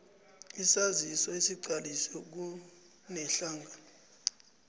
isaziso esiqaliswe kunedlac